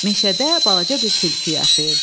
Meşədə balaca bir tülkü yaşayırdı.